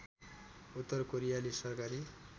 उत्तर कोरियाली सरकारी